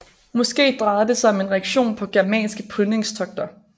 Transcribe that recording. Måske drejede det sig om en reaktion på germanske plyndringstogter